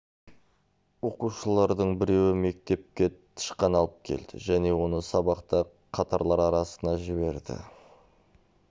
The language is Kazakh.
оқушылардың біреуі мектепке тышқан алып келді және оны сабақта қатарлар арасына жібереді